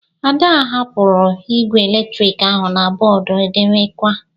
Ada hapụrụ igwe eletrik ahụ na bọọdụ edemakwa.